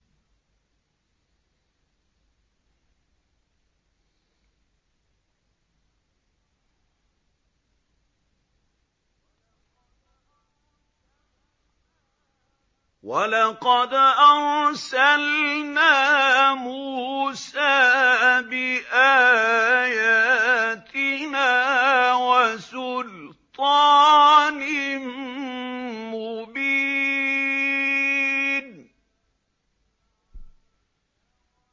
وَلَقَدْ أَرْسَلْنَا مُوسَىٰ بِآيَاتِنَا وَسُلْطَانٍ مُّبِينٍ